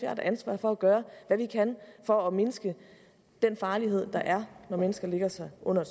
har et ansvar for at gøre hvad vi kan for at mindske den farlighed der er når mennesker lægger sig under